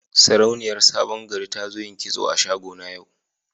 Sarauniyar sabon gari ta zo yin kitso a shago na yau.